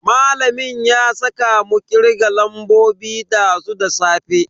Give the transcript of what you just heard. Malamin ya saka mu kirgen lambobi dazu da safe.